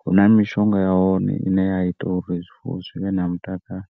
huna mishonga ya hone ine ya ita uri zwifuwo zwi vhe na mutakalo.